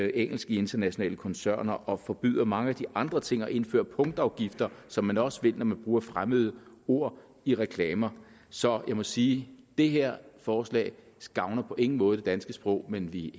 engelsk i internationale koncerner og forbyder mange af de andre ting og indfører punktafgifter som man også vil når man bruger fremmede ord i reklamer så jeg må sige det her forslag gavner på ingen måde det danske sprog men vi